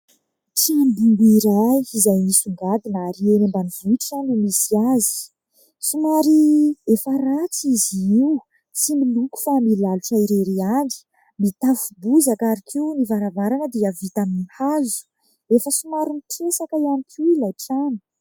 Trano bongo iray, izay misongadina, ary eny ambanivohitra no misy azy. Somary efa ratsy izy io, tsy miloko fa milalotra irery ihany. Mitafo bozaka, ary koa, ny varavarana dia vita amin'ny hazo ; efa somary mitresaka ihany koa ilay trano.